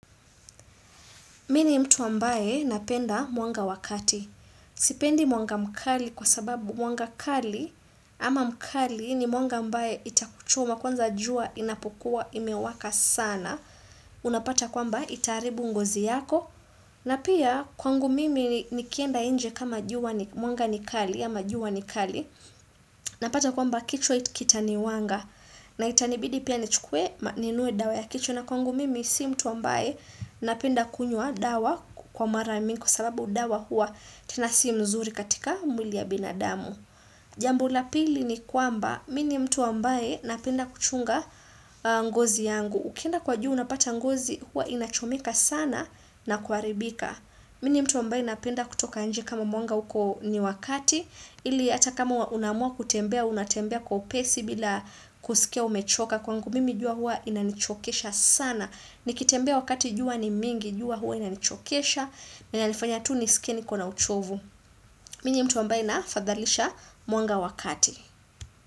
Mimi ni mtu ambaye napenda mwanga wa kati. Sipendi mwanga mkali kwasababu mwanga kali ama mkali ni mwanga ambaye itakuchoma kwanza jua inapokuwa imewaka sana. Unapata kwamba itaharibu ngozi yako. Na pia kwangu mimi nikienda inje kama jua mwanga ni kali ama jua ni kali. Napata kwamba kichwa kitaniwanga. Na itanibidi pia nichukue ninunue dawa ya kichwa na kwangu mimi si mtu ambaye napenda kunywa dawa kwa mara mingi kwasababu dawa hua tena si mzuri katika mwili ya binadamu. Jambo la pili ni kwamba mini ni mtu ambaye napenda kuchunga ngozi yangu. Ukienda kwa jua unapata ngozi hua inachomeka sana na kuharibika. Mimi ni mtu ambae napenda kutoka inje kama mwanga uko ni wa kati, ili hata kama unaamua kutembea, unatembea kwa upesi bila kusikia umechoka kwangu, mimi jua hua inanichokesha sana. Nikitembea wakati jua ni mingi, jua hua inanichokesha, na inanifanya tu nisikie niko na uchovu. Mimi ni mtu ambae nafadhalisha mwanga wa kati.